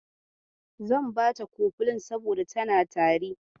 Zan bata kofilin saboda tana tari.